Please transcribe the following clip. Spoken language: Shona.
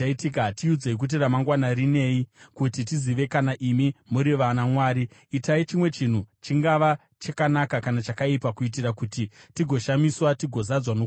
tiudzei kuti ramangwana rinei, kuti tizive kana imi muri vanamwari. Itai chimwe chinhu, chingava chakanaka kana chakaipa, kuitira kuti tigoshamiswa tigozadzwa nokutya.